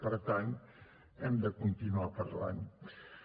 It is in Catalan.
per tant hem de continuar parlant ne